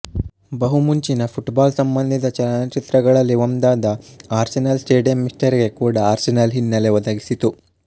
ಬಹು ಮುಂಚಿನ ಪುಟ್ಬಾಲ್ಸಂಬಂಧಿತ ಚಲನಚಿತ್ರಗಳಲ್ಲಿ ಒಂದಾದ ಆರ್ಸೆನಲ್ ಸ್ಟೇಡಿಯಂ ಮಿಸ್ಟರಿಗೆ ಕೂಡ ಆರ್ಸೆನಲ್ ಹಿನ್ನೆಲೆ ಒದಗಿಸಿತು